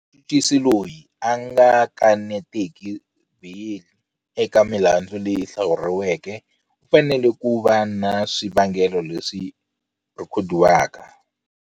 Muchuchisi loyi a nga kanetiki beyili eka milandzu leyi hlawuriweke u fanele ku va ni swivangelo leswi rhekhodiwaka.